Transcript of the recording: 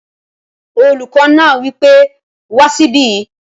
Olùkọ́ náà wí pé wá síbí!